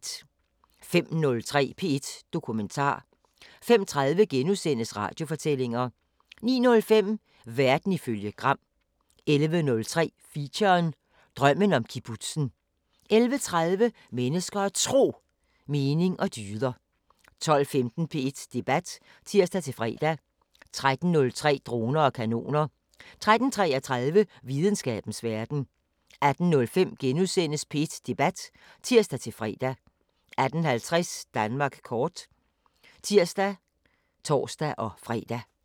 05:03: P1 Dokumentar 05:30: Radiofortællinger * 09:05: Verden ifølge Gram 11:03: Feature: Drømmen om kibbutzen 11:30: Mennesker og Tro: Mening og dyder 12:15: P1 Debat (tir-fre) 13:03: Droner og Kanoner 13:33: Videnskabens Verden 18:05: P1 Debat *(tir-fre) 18:50: Danmark kort (tir og tor-fre)